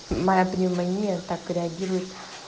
моя пневмония так реагирует